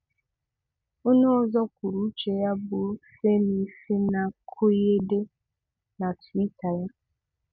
Ọ̀nè òzò kwùrù ùchè ya bụ́ Femi Fani-Koyede n’túítà ya